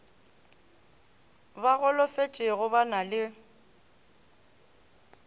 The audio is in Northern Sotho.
ba golofetšego ba na le